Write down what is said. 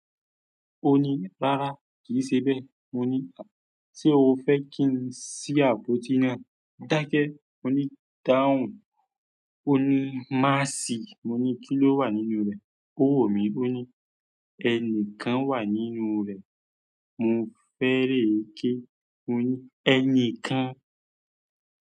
Ó ní, "Rárá kì í ṣe bẹ́." Mo ní, "Ṣé o fẹ́ kí n sí àpótí náà?" daake mońi dáhùn. Ó ní, "Má sí." moni ki lo wa nínú re? Ó wò mí. Ó ní, "Ẹni kan wà nínú rẹ̀." mo fere ke. Ó ní, "Ẹni kan."